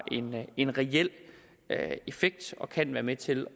en reel effekt og kan være med til